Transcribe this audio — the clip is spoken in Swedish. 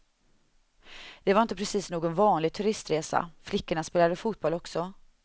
Det var inte precis någon vanlig turistresa, flickorna spelade fotboll också.